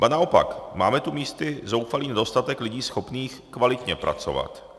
Ba naopak máme tu místy zoufalý nedostatek lidí schopných kvalitně pracovat.